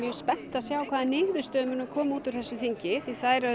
spennt að sjá hvaða niðurstöður koma út úr þessu þingi því þær